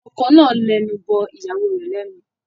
Ọkọ náà lẹnu bọ ìyàwó rẹ̀ lẹ́nu.